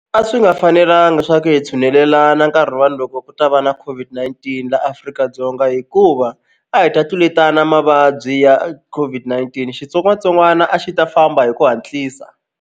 A swi nga fanelanga swa ku hi tshunelelana nkarhi loko ku ta va na COVID-19 la Afrika-Dzonga hikuva a hi ta tluletana mavabyi ya COVID-19 xitsongwatsongwana a xi ta famba hi ku hatlisa.